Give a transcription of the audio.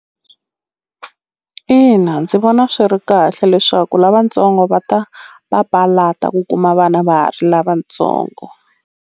Ina ndzi vona swi ri kahle leswaku lavatsongo va ta papalata ku kuma vana va ha ri lavatsongo.